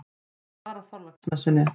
Það var á Þorláksmessunni.